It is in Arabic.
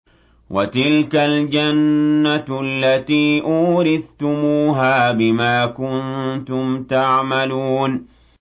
وَتِلْكَ الْجَنَّةُ الَّتِي أُورِثْتُمُوهَا بِمَا كُنتُمْ تَعْمَلُونَ